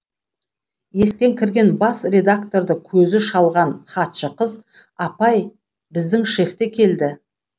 есіктен кірген бас редакторды көзі шалған хатшы қыз апай біздің шеф те келді